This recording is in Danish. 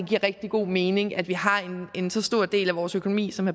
giver rigtig god mening at vi har en så stor del af vores økonomi som